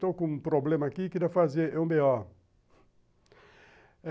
Estou com um problema aqui, queria fazer um bê ó